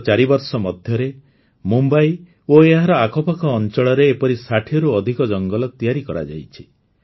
ଗତ ଚାରିବର୍ଷ ମଧ୍ୟରେ ମୁମ୍ବଇ ଓ ଏହାର ଆଖପାଖ ଅଞ୍ଚଳରେ ଏପରି ୬୦ରୁ ଅଧିକ ଜଙ୍ଗଲ ତିଆରି କରାଯାଇଛି